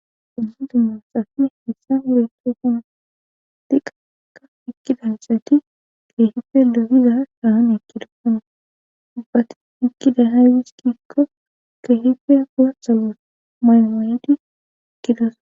Ubu du mosappe hissan wureto kun diqaka ikki dansati keehife logiza sahan ekki dokona dubbati ikkida haydis kikko keehife goassa gos maymoyedi ikidosa.